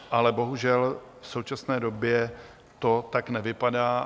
Ale bohužel v současné době to tak nevypadá.